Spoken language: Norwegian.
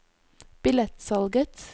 billettsalget